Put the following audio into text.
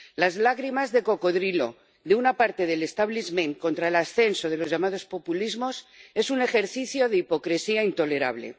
Las lágrimas de cocodrilo de una parte del establishment contra el ascenso de los llamados populismos es un ejercicio de hipocresía intolerable.